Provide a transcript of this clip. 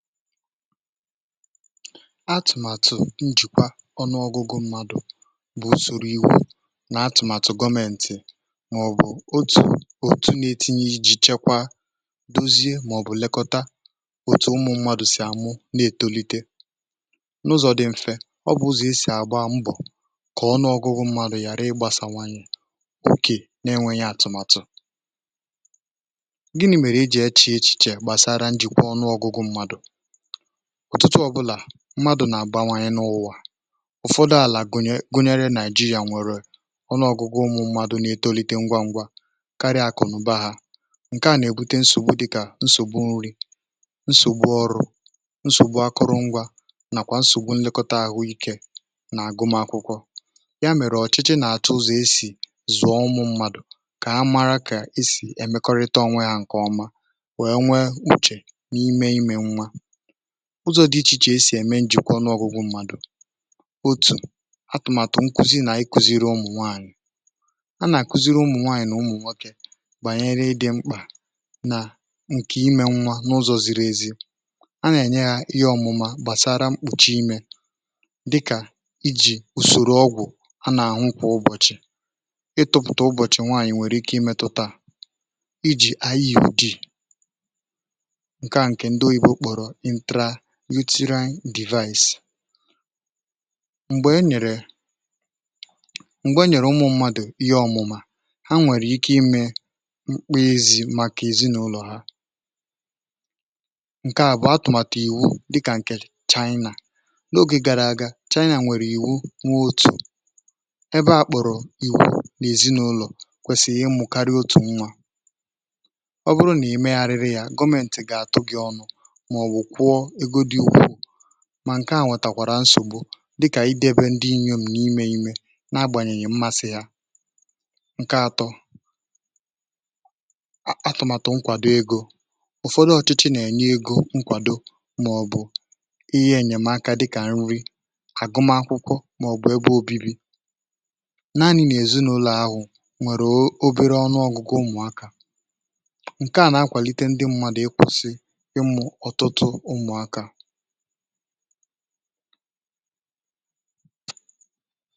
atụ̀màtụ̀ njìkwa ọnụ ọgụgụ mmadụ̀ bụ̀ òsòrò iwu̇ nà atụ̀màtụ̀ gọmẹ̀ntị̀ màọ̀bụ̀ otù̀ otù̀ na-etinye iji̇ chekwa, dozie, màọ̀bụ̀ lekọta otù̀ ụmụ̀ mmadụ̀ sì amụ̀ na-ètolite n’ụzọ̇ dị̇ mfė ọ bụ̀ zù e sì àgba mbọ̀ kà ọnụ ọgụgụ mmadụ̀ ghàra ịgbasàwanyị̀ oke nà-enwėnyè atụ̀màtụ̀ gịnị̇ mèrè e jị̇ eche echiche gbàsara njìkwa ọnụ ọgụgụ̇ mmadụ̀ ọ̀tụtụ ọ̀bụlà mmadụ̀ nà-àgbanwanye n’ụwà ụ̀fọdụ àlà gụnyere nàịjíríà nwèrè ọnụ ọ̀gụgụ ụmụ̇ mmadụ̀ nà-etolite ngwa ngwa karịa akụ̀nụ̀ba ha Ǹkè a nà-èbute nsògbu dịkà nsògbu nri, nsògbu ọrụ, nsògbu akụrụngwa, nàkwà nsògbu nlekọta àhụ́ ike nà-àgụ m akwụkwọ ya mèrè ọ̀chịchị nà-achụ ụzọ̇ esì zụ̀ọ ụmụ̇ mmadụ̀ kà a mara kà esì emekọrịta ọnwà ha ǹkè ọma wee nwee kpuchè n’ime imē nwa ụzọ̇ dị iche iche e sì ème njìkwa ọnụọgụgụ mmadụ̀ bụ̀ otù̀ atụ̀màtụ̀ nkuzi nà ịkụziri ụmụ̀ nwaànyị̀ a nà-àkuziri ụmụ̀ nwaànyị̀ nà ụmụ̀ nwokė gbànyere um ịdị̇ mkpà nà ǹkè imē nwa n’ụzọ̇ ziri ezi a nà-ènye yà ihe ọ̇mụ̀ma gbàsara mkpòchi imē dịkà ijì ùsòrò ọgwụ̀ a nà-àhụkwa ụbọ̀chị̀ ịtụ̇pụ̀tà ụbọ̀chị̀ nwaànyị̀ nwèrè ike imetụtà um iji anyị yà ùdì "uterine device" (IUD) m̀gbè e nyèrè ụmụ̀ mmadụ̀ ihe ọ̀mụ̀mà ha nwèrè ike imē mkpa ezi̇ màkà èzinụlọ̀ ha ǹkè àbụọ bụ̀ atụ̀màtụ̀ ìwu dịkà ǹkè China n’ogè gàrà aga China nwèrè ìwu nwe otu ebe akpụ̀rụ̀ ìwu n’èzinụlọ̀ kwèsịrị ịmụ̇karị otu nwa ọ bụrụ nà ime ghara ya gọmentị̀ gà-átụ gị̀ ọnụ mà ǹkè à nwètakwara nsògbu dịkà ịdị ebe ndị inyòm na-imē imē na-agbànyènyè mmasị̇ yà ǹkè atọ̇ bụ̀ atụ̀màtụ̀ nkwàdo egȯ um ụ̀fọdụ ọ̀chịchị nà-ènye egȯ nkwàdo màọ̀bụ̀ ihe enyèmaka dịkà nri, àgụma akwụkwọ, màọ̀bụ̀ ebe obibi̇ naanị̇ n’èzinàụlọ̀ ahụ̀ nwèrè obere ọnụ ọ̀gụ̀gụ ụmụ̀akà ǹkè à nà-akwàlite ndị mmadụ̀ ịkwụ̇sị̇ ǹdewo.